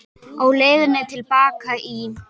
Á leiðinni til baka í